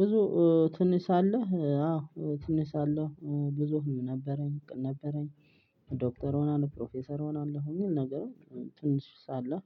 ብዙ ትንሳለህ አዎ ትንሳለሁ ብዙ ህልም ነበረኝ ዶክተር እሆናለሁ ፕሮፌሰር እሆናለሁ። እኒህን ነገሮች ትንሽ ሳለሁ